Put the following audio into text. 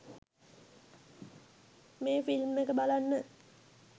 මේ ෆිල්ම් එක බලන්න